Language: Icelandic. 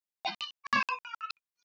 Ég verð dálítið hrædd.